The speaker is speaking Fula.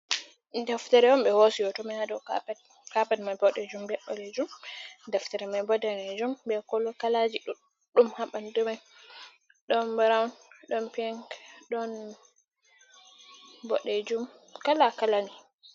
Ɗeftere on ɓe hosi hoto mai ha ɗow kapet. Kapet mai Ɓoɗɗejum ɓe Ɓalejum. Ɗeftere mai ɓo nɗanejum, ɓe kalaji ɗuɗɗum ha ɓanɗu mai, ɗon Ɓurauw, ɗon pink, ɗon Ɓoɗɗejum kala kalani.